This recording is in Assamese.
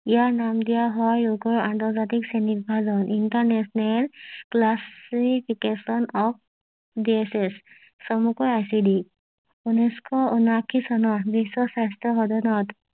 ইয়াৰ নাম দিয়া হয় ৰোগৰ আন্ত জাতিক শ্ৰেণী বিভাজন ইন্টাৰনেশ্যনেল ক্লাছিফিকেশ্যন অফ ডিজিচ চমুকৈ আইচিডি ঊনৈশ ঊনআশী চনৰ বিশ্ব স্বাস্থ্য সদনত